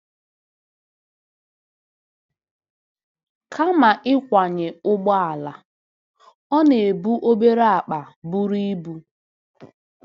Kama ịkwanye ụgbọala, ọ na-ebu obere akpa buru ibu.